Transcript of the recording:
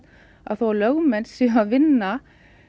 að þó að lögmenn séu að vinna